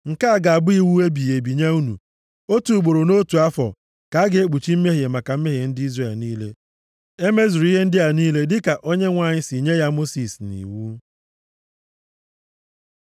“Nke a ga-abụ iwu ebighị ebi nye unu. Otu ugboro nʼotu afọ ka a ga-ekpuchi mmehie maka mmehie ndị Izrel niile.” E mezuru ihe ndị a niile dịka Onyenwe anyị si nye ya Mosis nʼiwu.